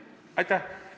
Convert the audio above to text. Aitäh!